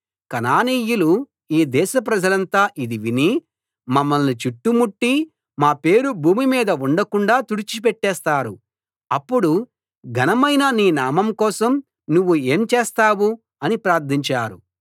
కనానీయులు ఈ దేశ ప్రజలంతా ఇది విని మమ్మల్ని చుట్టుముట్టి మా పేరు భూమి మీద ఉండకుండాా తుడిచి పెట్టేస్తారు అప్పుడు ఘనమైన నీ నామం కోసం నువ్వు ఏం చేస్తావు అని ప్రార్థించారు